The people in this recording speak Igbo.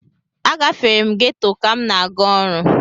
Agafere m geto ka m na-aga ọrụ.